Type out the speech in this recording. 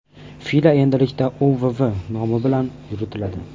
FILA endilikda UWW nomi bilan yuritiladi.